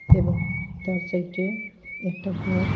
এবং তার সাইটে একটা ঘর।